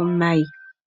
omayi.